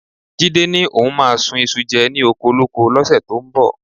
Jídé ni òun máa sun iṣu jẹ ni okolóko lọ́sẹ̀ tó ń bọ̀